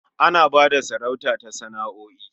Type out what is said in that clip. Ana ba da sarauta ta sana'o'i.